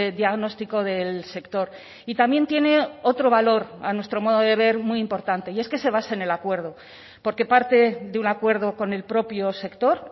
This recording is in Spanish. diagnóstico del sector y también tiene otro valor a nuestro modo de ver muy importante y es que se basa en el acuerdo porque parte de un acuerdo con el propio sector